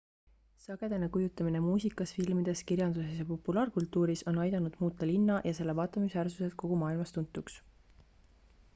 sagedane kujutamine muusikas filmides kirjanduses ja populaarkultuuris on aidanud muuta linna ja selle vaatamisväärsused kogu maailmas tuntuks